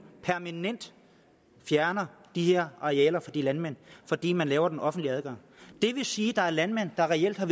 permanent fjerner de her arealer fra de landmænd fordi man laver den offentlige adgang det vil sige at der er landmænd der reelt har